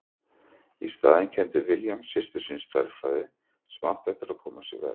Í staðinn kenndi William systur sinni stærðfræði sem átti eftir að koma sér vel.